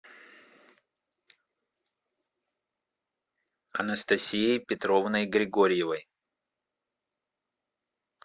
анастасией петровной григорьевой